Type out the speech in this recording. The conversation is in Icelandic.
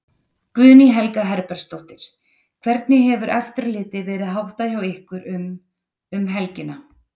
Guðný Helga Herbertsdóttir: Hvernig hefur eftirliti verið háttað hjá ykkur um, um helgina?